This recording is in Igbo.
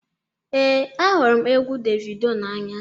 ee, ahụrụ m egwu davido n'anya